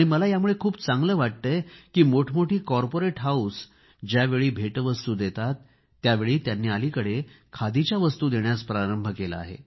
मला यामुळे खूप चांगले वाटते की मोठे मोठे कॉर्पोरेट हाऊस ज्यावेळी भेटवस्तू देतात त्यावेळी त्यांनी अलिकडे खादीच्या वस्तू देण्यास प्रारंभ केला आहे